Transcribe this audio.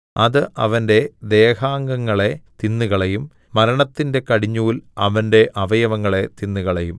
അത് അവന്റെ ദേഹാംഗങ്ങളെ തിന്നുകളയും മരണത്തിന്റെ കടിഞ്ഞൂൽ അവന്റെ അവയവങ്ങളെ തിന്നുകളയും